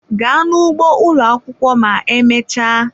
Gaa n'ugbo ụlọ akwụkwọ ma emechaa!